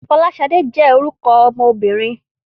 Fọláṣadé jẹ́ orúkọ ọmọbìnrin.